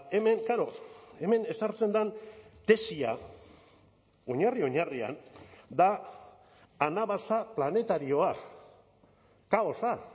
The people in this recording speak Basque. hemen klaro hemen ezartzen den tesia oinarri oinarrian da anabasa planetarioa kaosa